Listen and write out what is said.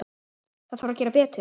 Það þarf að gera betur.